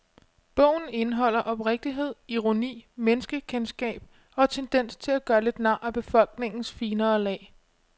Bogen indeholder oprigtighed, ironi, menneskekendskab og en tendens til at gøre lidt nar af befolkningens finere lag.